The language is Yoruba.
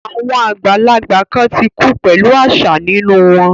Àwọn àgbàlagbà kan ti kú pẹ̀lú àṣà nínú wọn